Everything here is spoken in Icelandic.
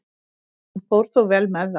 Hann fór þó vel með það.